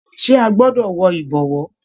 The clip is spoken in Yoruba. Ṣe a gbọdọ wọ ìbọ̀wọ́?